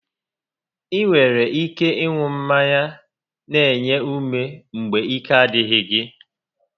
Ị nwere ike ịṅụ mmanya n'enye ume mgbe ike a dịghị gị